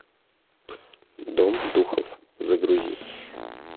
дом духов загрузи